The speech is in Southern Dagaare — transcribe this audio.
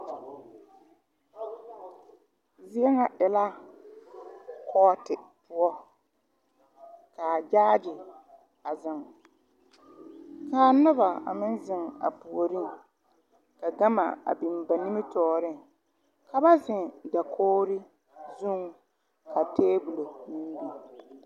Ziena e la kɔɔte poʊ. Kaa gyaaye a zeŋ. Kaa nobo a meŋ zeŋ a pooreŋ. Ka gama a biŋ ba nimitooreŋ. Ka ba zeŋ dakogre zuŋ ka tabul biŋ